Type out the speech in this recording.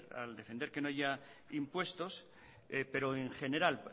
al defender que no haya impuestos pero en general